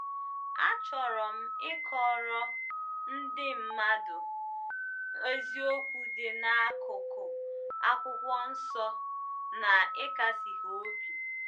"Achọrọ m ịkọrọ ndị mmadụ eziokwu dị n'akụkụ Akwụkwọ Nsọ na ịkasi ha obi."